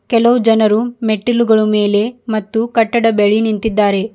ಕೆಲವು ಜನರು ಮೆಟ್ಟಿಲುಗಳ ಮೇಲೆ ಮತ್ತು ಕಟ್ಟಡ ಬೆಳಿ ನಿಂತಿದ್ದಾರೆ.